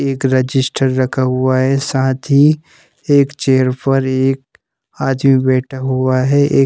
एक रजिस्टर रखा हुआ है साथ ही एक चेयर पर एक आदमी बैठा हुआ है एक--